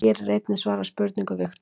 Hér er einnig svarað spurningu Viktors: